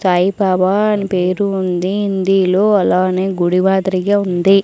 సాయిబాబా అని పేరు ఉంది హిందీలో అలానే గుడివాదిరిగా ఉంది.